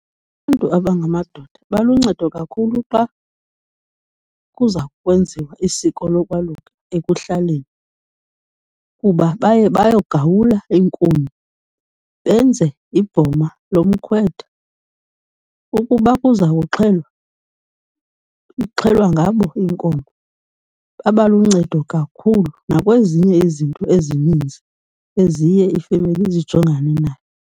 Abantu abangamadoda baluncedo kakhulu xa kuza kwenziwa isiko lokwaluka ekuhlaleni, kuba baye bayogawula iinkuni, benze ibhoma lomkhwetha. Ukuba kuzawuxhelwa, ixhelwa ngabo inkomo. Baba luncedo kakhulu nakwezinye izinto ezininzi eziye ifemeli zijongane nayo.